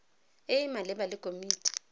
e e maleba le komiti